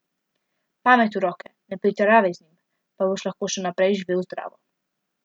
Pamet v roke, ne pretiravaj z njim, pa boš lahko še naprej živel zdravo.